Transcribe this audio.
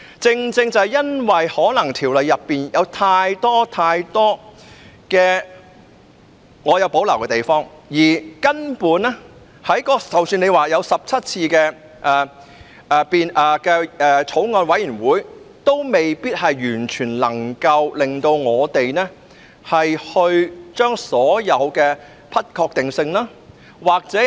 正正因為我們對《條例草案》太多條文有所保留，即使曾經進行17次法案委員會會議，也未必能夠令我們完全接受所有的不確定性。